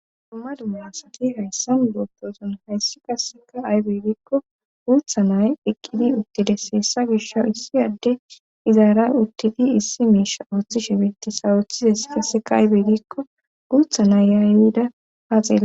dumma dumasaki hayssan gopposon hayssi qasseka aybeygikko guutha nay eqqidi uttides heessa gisha issi adde izaara uttidi issi miisha ooththi shebeti sawooththizes kasseka aybeygikko guutha naayyaayida haaxela